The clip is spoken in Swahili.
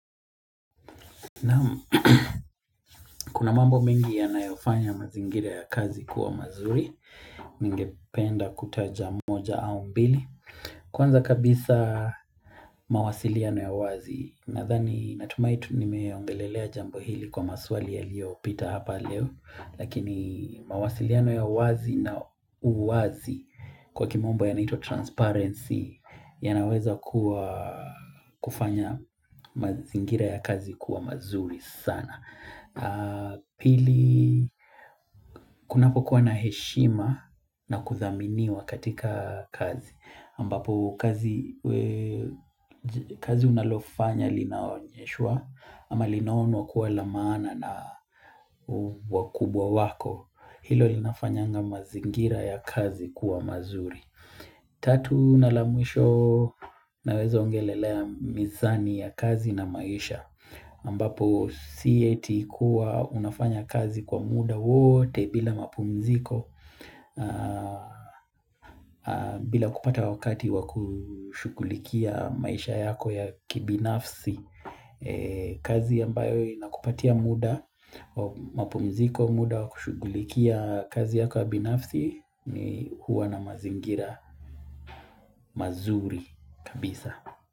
Na kuna mambo mengi yanayofanya mazingira ya kazi kuwa mazuri Ningependa kutaja moja au mbili Kwanza kabisa mawasiliano ya wazi Nathani natumaitu nimeongelelea jambo hili kwa maswali ya liyo pita hapa leo Lakini mawasiliano ya wazi na uwazi kwa kimombo yanaitwa transparency yanaweza kua kufanya mazingira ya kazi kuwa mazuri sana Pili kunapokuwa na heshima na kuthaminiwa katika kazi ambapo kazi kazi unalofanya linaonyeshwa ama linaonwa kuwa la maana na wakubwa wako Hilo linafanyanga mazingira ya kazi kuwa mazuri Tatu na la mwisho naweza ongelelea mizani ya kazi na maisha ambapo si eti kuwa unafanya kazi kwa muda wote bila mapumziko bila kupata wakati wa kushughulikia maisha yako ya kibinafsi kazi ambayo inakupatia muda, wa mapumziko muda wa kushughulikia kazi yako ya binafsi ni hua na mazingira mazuri kabisa.